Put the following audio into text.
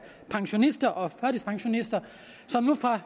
pensionister og førtidspensionister som nu fra